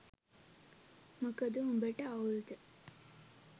මොකද උඹ ට අවුල්ද?